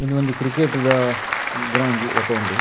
ಉಂದು ಒಂಜಿ ಕ್ರಿಕೆಟ್ ದ ಗ್ರೌಂಡು ಲೆಕ ಉಂಡು.